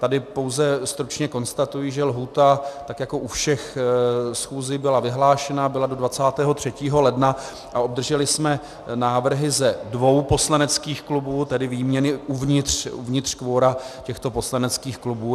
Tady pouze stručně konstatuji, že lhůta, tak jako u všech schůzí, byla vyhlášena, byla do 23. ledna a obdrželi jsme návrhy ze dvou poslaneckých klubů, tedy výměny uvnitř kvora těchto poslaneckých klubů.